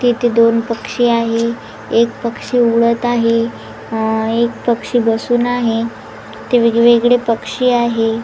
येथे दोन पक्षी आहे एक पक्षी उडत आहे अ एक पक्षी बसून आहे इथे वेगवेगळे पक्षी आहे.